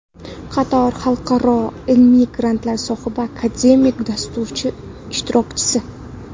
Qator xalqaro ilmiy grantlar sohibi, akademik dasturlar ishtirokchisi.